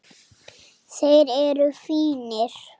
Þeir eru fínir.